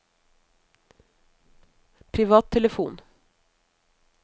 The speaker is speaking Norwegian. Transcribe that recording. privattelefon